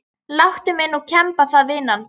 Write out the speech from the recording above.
Láttu mig nú kemba það vinan.